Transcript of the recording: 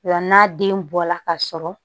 O la n'a den bɔla ka sɔrɔ